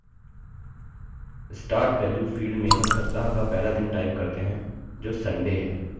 start value field में हम सप्ताह का पहला दिन type करते हैं जो sunday है